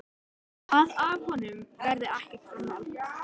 Að af honum verði ekkert framhald.